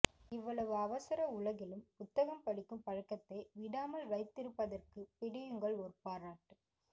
இவ்வளவு அவசர உலகிலும் புத்தகம் படிக்கும் பழக்கத்தை விடாமல் வைத்திருப்பதற்கு பிடியுங்கள் ஓர் பாராட்டு